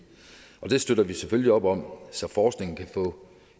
og det støtter vi selvfølgelig op om så forskningen kan få